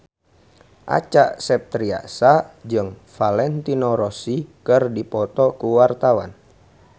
Acha Septriasa jeung Valentino Rossi keur dipoto ku wartawan